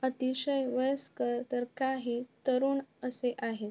अतिशय वयस्कर तर काही तरुन असे आहेत.